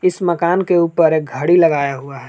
इस मकान के ऊपर एक घड़ी लगाया हुआ है।